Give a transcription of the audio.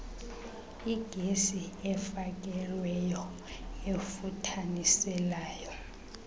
igesi efakelweyo efuthaniselayo